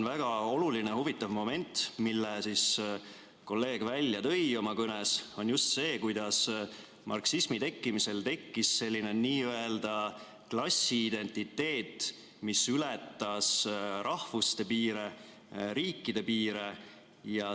Väga oluline ja huvitav moment, mille kolleeg välja tõi oma kõnes, on just see, kuidas marksismi tekkimisel tekkis selline n‑ö klassiidentiteet, mis ületas rahvuste, riikide piire.